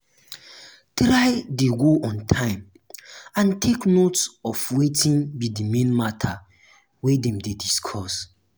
try de go on time and take note of wetin be di main matter wey dem de discuss